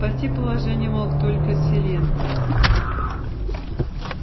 спасти положение мог только селен